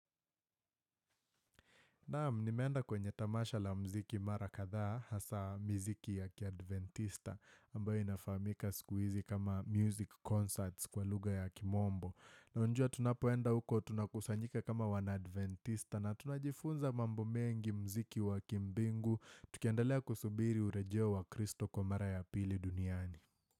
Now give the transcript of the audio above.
Naam nimeenda kwenye tamasha la mziki mara kadhaa hasa mziki ya kiadventista ambayo inafamika siku hizi kama music concerts kwa lugha ya kimombo. Unajua tunapoenda huko tunakusanyika kama wanadventista na tunajifunza mambo mengi mziki wa kimbingu tukiendelea kusubiri urejeo wa kristo kwa mara ya pili duniani.